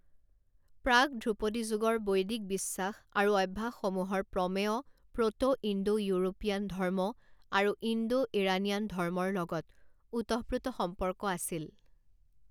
প্ৰাক ধ্ৰুপদী যুগৰ বৈদিক বিশ্বাস আৰু অভ্যাসসমূহৰ প্ৰমেয় প্ৰট' ইণ্ডো ইউৰোপীয়ান ধৰ্ম আৰু ইণ্ডো ইৰানীয়ান ধৰ্মৰ লগত ওতঃপ্ৰোত সম্পৰ্ক আছিল।